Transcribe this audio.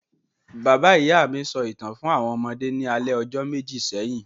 Bàbá-ìyá mi sọ ìtàn fún àwọn ọmọdé ní alẹ́ ọjọ́ méjì sẹ́yìn.